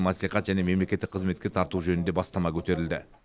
мәслихат және мемлекеттік қызметке тарту жөнінде бастама көтерілді